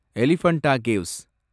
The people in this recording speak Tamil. எலிபண்டா கேவ்ஸ்